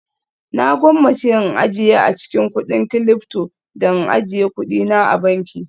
Na gwammace in ajiye a cikin kudin Cilyfto da in ajiye kuɗina a banki